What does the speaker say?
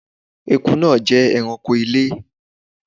ẹkú naa jẹ ẹranko ilé